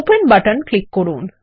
open button click করুন